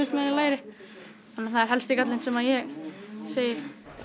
meðan ég læri þá er það helsti gallinn sem ég segi